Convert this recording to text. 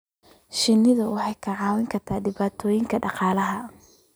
Shinnidu waxay kicin kartaa dhibaatooyin dhaqaale.